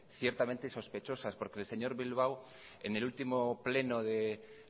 ciertamente sospechosas porque el señor bilbao en el último pleno de